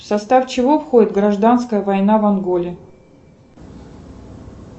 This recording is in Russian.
в состав чего входит гражданская война в анголе